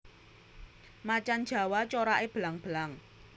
Macan jawa corake belang belang